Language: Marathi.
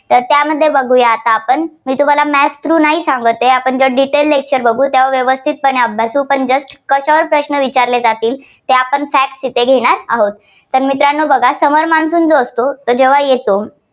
तर त्यामध्ये बघुया आपण मी तुम्हाला map through नाही सांगतये. आपण ज्या detail lecture बघू त्यावेळी व्यवस्थित अभ्यासू. आपण just कशावर प्रश्न विचारले जातील ते आपण Facts येथे घेणार आहोत. तर मित्रांनो बघा summer monsoon जो असतो तो जेव्हा येतो